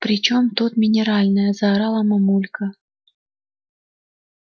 при чем тут минеральная заорала мамулька